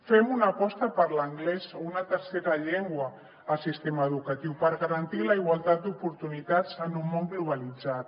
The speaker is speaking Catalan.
fem una aposta per l’anglès o una tercera llengua al sistema educatiu per garantir la igualtat d’oportunitats en un món globalitzat